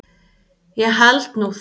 Ég held nú það!